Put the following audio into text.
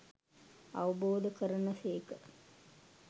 අවබෝධ කරන සේක.